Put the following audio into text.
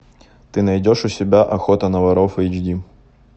ты найдешь у себя охота на воров эйч ди